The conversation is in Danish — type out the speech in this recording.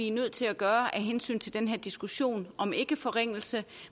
er nødt til at gøre af hensyn til den her diskussion om ikkeforringelse